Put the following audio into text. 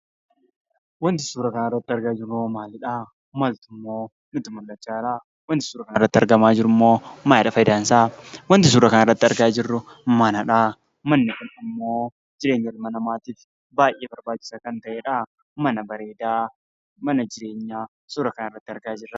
Wanti suuraa kanarratti argaa jirrummoo maalidha? Maaltummoo nutti mul'achaa jira? Wanti suuraa kanarratti argamaa jirummoo maalidha fayidaansaa? Wanti suuraa kanarratti argaa jirru manadha. Manni kun ammoo jireenya ilma namaatiif baayyee barbaachisaa kan ta'edha. Mana bareedaa mana jireenyaa suuraa kanarratti argaa jirra.